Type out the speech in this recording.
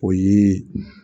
O ye